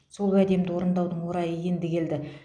сол уәдемді орындаудың орайы енді келді